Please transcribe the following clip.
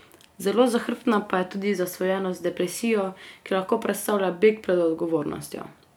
Zelo zahrbtna pa je tudi zasvojenost z depresijo, ki lahko predstavlja beg pred odgovornostjo.